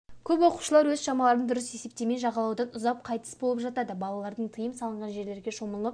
көп оқушылар өз шамаларын дұрыс есептемей жағалаудан ұзап қайтыс болып жатады балалардың тыйым салынған жерлерде шомылып